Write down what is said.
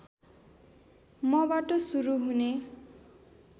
मबाट सुरु हुने